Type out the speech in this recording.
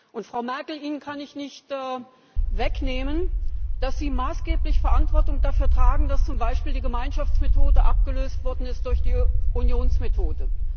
Und, Frau Merkel Ihnen kann ich nicht wegnehmen, dass Sie maßgeblich Verantwortung dafür tragen, dass zum Beispiel die Gemeinschaftsmethode abgelöst worden ist durch die Unionsmethode.